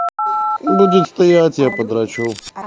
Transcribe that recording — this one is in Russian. будет стоять я подрочу